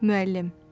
Müəllim: